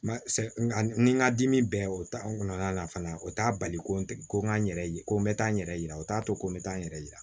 Nka n ka dimi bɛɛ o ta n kɔnɔna la fana o t'a bali ko n tɛ ko n k'a yɛrɛ ye ko n bɛ taa n yɛrɛ yira o t'a to ko n bɛ taa n yɛrɛ yira